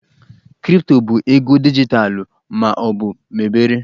Kripto bụ ego dijitalụ ma ọ bụ mebere